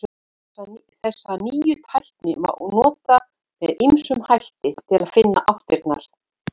Þessa nýju tækni má nota með ýmsum hætti til að finna áttirnar.